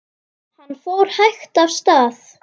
Minning Lindu lifir.